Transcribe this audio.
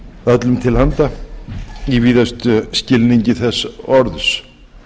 öllum til handa í víðustum skilningi þess orðs